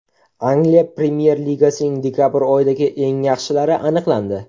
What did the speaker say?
Angliya Premyer Ligasining dekabr oyidagi eng yaxshilari aniqlandi.